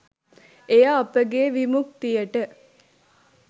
එය අපගේ විමුක්තියට